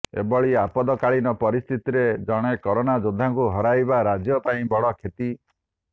ଏଭଳି ଆପଦାକାଳୀନ ପରିସ୍ଥିତିରେ ଜଣେ କରୋନା ଯୋଦ୍ଧାଙ୍କୁ ହରାଇବା ରାଜ୍ୟ ପାଇଁ ବଡ଼ କ୍ଷତି